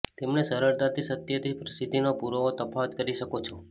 તેમણે સરળતાથી સત્યથી પ્રસિદ્ધિનો પુરાવો તફાવત કરી શકો છો